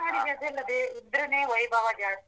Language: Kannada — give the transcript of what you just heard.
ತುಳುನಾಡಿಗ್ ಅದೆಲ್ಲ ಇದ್ದ್ರೆನೇ ವೈಭವ ಜಾಸ್ತಿ.